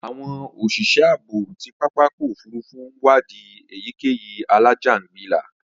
Àwọn òṣìṣẹ́ ààbò ti pápákọ̀ òfurufú ń wadi èyíkéyìí alájàǹgbilà